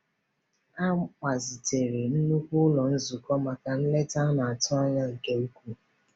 A gbazitere nnukwu ụlọ nzukọ maka nleta a na-atụ anya nke ukwuu.